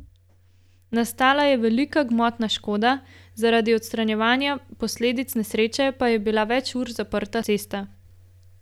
Nastala je velika gmotna škoda, zaradi odstranjevanja posledic nesreče pa je bila več ur zaprta cesta.